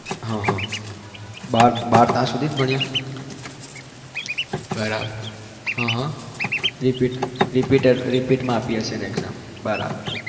હા હા બાર પાસ સુધી જ ભણ્યા બરાબ, હં હં repeat માં આપી હશે exam બરાબર